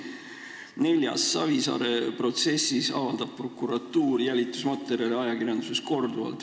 Neljandaks: Savisaare protsessi ajal avaldab prokuratuur jälitusmaterjale ajakirjanduses korduvalt.